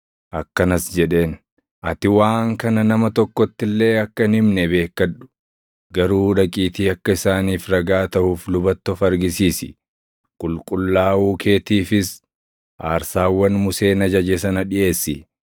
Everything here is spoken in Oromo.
Akkanas jedheen; “Ati waan kana nama tokkotti illee akka hin himne beekkadhu; garuu dhaqiitii akka isaaniif ragaa taʼuuf lubatti of argisiisi; qulqullaaʼuu keetiifis aarsaawwan Museen ajaje sana dhiʼeessi.”